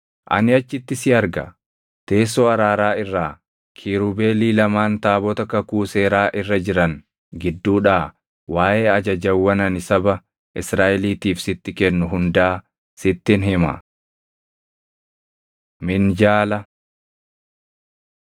Ani achitti si arga; teessoo araaraa irraa, kiirubeelii lamaan taabota kakuu seeraa irra jiran gidduudhaa waaʼee ajajawwan ani saba Israaʼeliitiif sitti kennu hundaa sittin hima. Minjaala 25:23‑29 kwf – Bau 37:10‑16